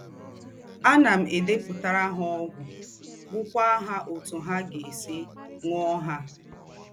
Ànà m èdèpùtàrà ha ógwù, gwúkwà ha ótù ha gá-èsì ṅúọ̀ ha.